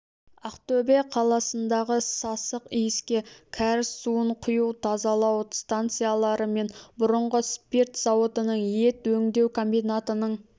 ақтөбе қаласындағы сасық иіске кәріз суын құю тазалау станциялары мен бұрынғы спирт зауытының ет өңдеу комбинатының